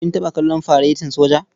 Kin taɓa kallon faretin soja?